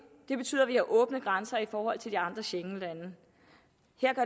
det betyder at vi har åbne grænser i forhold til de andre schengenlande